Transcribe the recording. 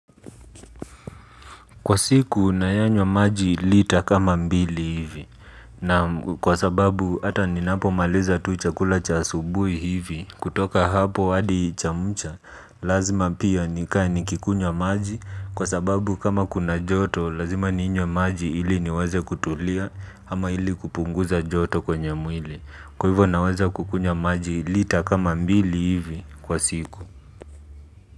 Kwa siku, nayanywa maji lita kama mbili hivi. Naam kwa sababu, hata ninapo maliza tu chakula cha asubuhi hivi. Kutoka hapo hadi cha mcha, lazima pia nikae nikikunywa maji. Kwa sababu, kama kuna joto, lazima ninywe maji ili niwaze kutulia, ama ili kupunguza joto kwenye mwili. Kwa hivyo, nawaze kukunywa maji lita kama mbili hivi kwa siku.